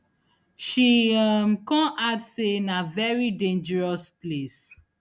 she um kon add say na veri dangerous place